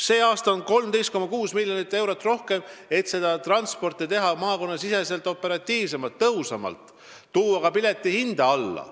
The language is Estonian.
Sellel aastal on 13,6 miljonit eurot rohkem, et muuta maakonnasisest transporti operatiivsemaks, tõhusamaks ja tuua ka pileti hinda alla.